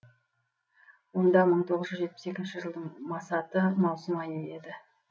онда мың тоғыз жүз жетпіс екінші жылдың масаты маусым айы еді